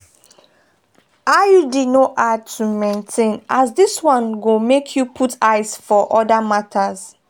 iud no hard to maintain as this one go make you put eyes for other matters.